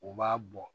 U b'a bɔ